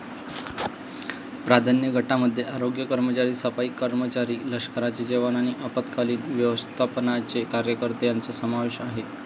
प्राधान्य गटामध्ये आरोग्य कर्मचारी, सफाई कर्मचारी, लष्कराचे जवान आणि आपत्कालीन व्यवस्थापनाचे कार्यकर्ते यांचा समावेश आहे.